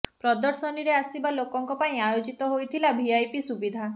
ପ୍ରଦର୍ଶନୀରେ ଆସିବା ଲୋକଙ୍କ ପାଇଁ ଆୟୋଜିତ ହୋଇଥିଲା ଭିଆଇପି ସୁବିଧା